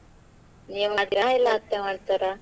ಹಾ ನೀವ್ ಮಾಡ್ತೀರಾ ಇಲ್ಲ ಅತ್ತೆ ಮಾಡ್ತಾರಾ?